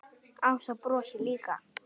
Ása brosir líka.